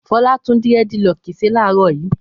Fọlá tún dẹ́rẹ́dilọkì ṣe láàárọ̀ yìí?